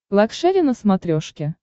лакшери на смотрешке